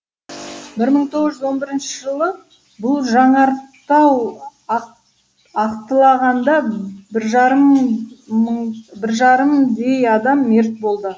бір мың тоғыз жүз он бірінші жылы бұл жанартау аттылағанда бір жарымдей адам мерт болды